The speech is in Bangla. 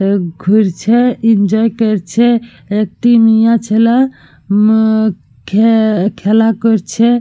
এ ঘুরছে এনজয় করছে। একটি মেয়ে ছেলে মম খে খেলা করছে।